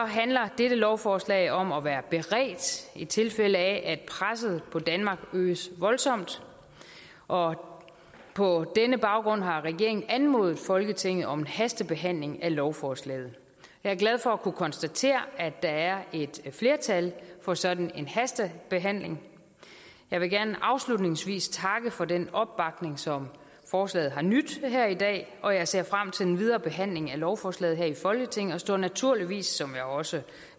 handler dette lovforslag om at være beredt i tilfælde af at presset på danmark øges voldsomt og på denne baggrund har regeringen anmodet folketinget om en hastebehandling af lovforslaget jeg er glad for at kunne konstatere at der er et flertal for sådan en hastebehandling jeg vil gerne afslutningsvis takke for den opbakning som forslaget har nydt her i dag og jeg ser frem til den videre behandling af lovforslaget her i folketinget og står naturligvis som jeg også